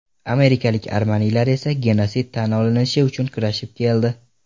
Amerikalik armanilar esa genosid tan olinishi uchun kurashib keldi.